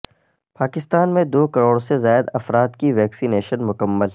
پاکستان میں دو کروڑ سے زائد افراد کی ویکسی نیشن مکمل